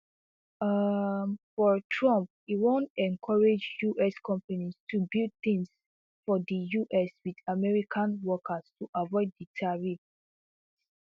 um for trump e wan encourage us companies to build tins for di us wit american workers to avoid di tariffs